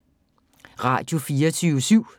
Radio24syv